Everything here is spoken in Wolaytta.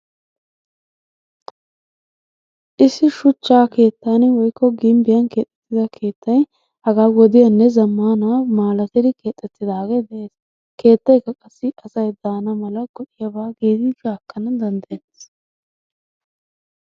Issi shuchcha keettan woyikko gimbbiyan keexettida keettay hagaa wodiyanne zammaana malatidi keexettidaagee beettes. Keettayikka qassi asay daana mala gi'yaba giidi qaaqqana danddayettees.